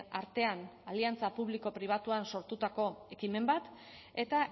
artean aliantza publiko pribatuan sortutako ekimen bat eta